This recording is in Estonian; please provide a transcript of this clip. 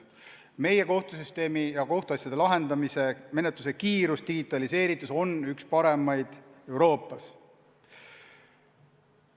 Meie kohtusüsteemi ja kohtuasjade lahendamise menetluse kiirus ja digitaliseeritus on üks parimaid Euroopas.